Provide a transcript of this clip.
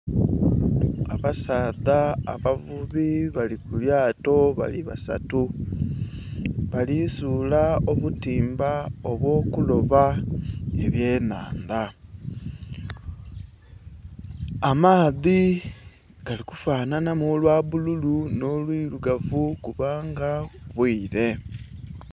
Abasaadha abavubi bali ku lyato bali basatu, bali suula obutimba obw'okuloba ebyenhandha. Amaadhi gali kufanhanhamu olwa bbululu nho olwirugavu kubanga bwire.